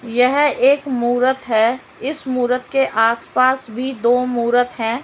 यह एक मूरत है इस मूरत के आसपास भी दो मूरत हैं।